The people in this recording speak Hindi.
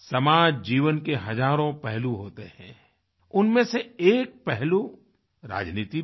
समाज जीवन के हजारों पहलू होते हैं उनमें से एक पहलू राजनीति भी है